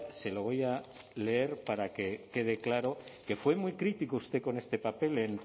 se lo voy a leer para que quede claro que fue muy crítico con este papel